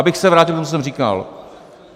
Abych se vrátil k tomu, co jsem říkal.